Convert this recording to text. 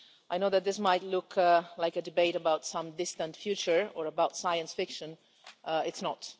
I know that this might look like a debate about some distant future or about science fiction it's not.